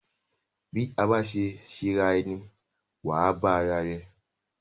Bí a bá ṣe ṣera rẹ ni wà á bá ara rẹ.